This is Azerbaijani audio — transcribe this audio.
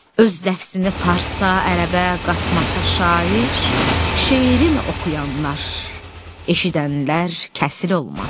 Öz nəfsini farsa, ərəbə qatmasa şair, şeirin oxuyanlar, eşidənlər kəsil olmaz.